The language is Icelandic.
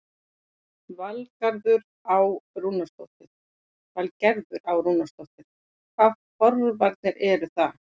Valgerður Á. Rúnarsdóttir: Hvaða forvarnir eru það?